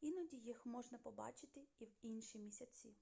іноді їх можна побачити і в інші місяці